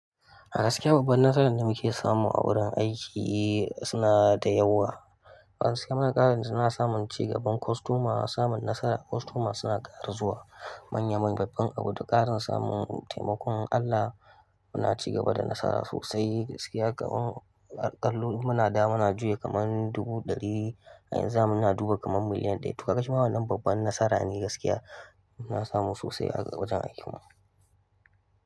Gaskiya babban nasarar damuke samu a wurin aiki suna dayawa. Gaskiya muna ƙarawa juna samun cigaban kostoma, samun nasara, kostoma suna ƙara zuwa. Manya manyan babban abu da ƙarin samun taimakon Allah muna cigaba da nasara sosai. Gaskiya kan aƙalla muna da muna juya kaman dubu ɗari a yanzu muna jmduba kaman miliyan ɗaya. To kaga shima wannan babban nasara ne gaskiya muna samu sosai a wajen aikin mu.